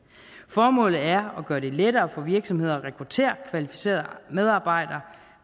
formålet er at gøre det lettere for virksomheder at rekruttere kvalificerede medarbejdere